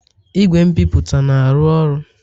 Igwe nbipute na-arụ ọrụ?